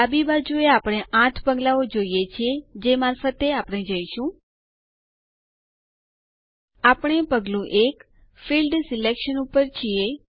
ડાબી બાજુએ આપણે ૮ પગલાઓ જોઈએ છીએ જે મારફતે આપણે જઈશું આપણે પગલું ૧ ફિલ્ડ સિલેક્શન ઉપર છીએ